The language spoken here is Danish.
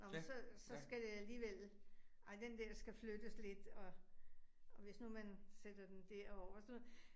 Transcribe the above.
Nåh men så så skal det alligevel, ej den der skal flyttes lidt, og og hvis nu man sætter den derover og sådan noget